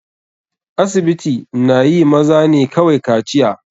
Asibiti na yi maza ne kawai kaciya.